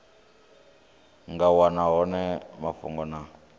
nga wana hone mafhungo na